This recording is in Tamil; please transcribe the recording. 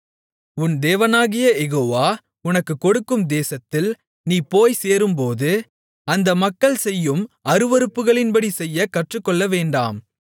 உன் தேவனாகிய யெகோவா உனக்குக் கொடுக்கும் தேசத்தில் நீ போய்ச்சேரும்போது அந்த மக்கள் செய்யும் அருவருப்புகளின்படி செய்யக் கற்றுக்கொள்ளவேண்டாம்